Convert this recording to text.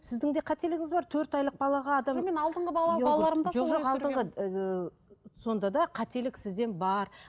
сіздің де қателігіңіз бар төрт айлық балаға адам жоқ жоқ алдыңғы ыыы сонда да қателік сізден бар